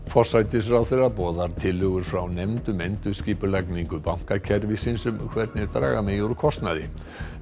forsætisráðherra boðar tillögur frá nefnd um endurskipulagningu bankakerfisins um hvernig draga megi úr kostnaði